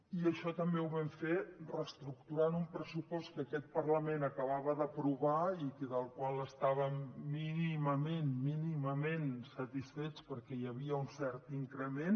i això també ho vam fer reestructurant un pressupost que aquest parlament acabava d’aprovar i del qual estàvem mínimament mínimament satisfets perquè hi havia un cert increment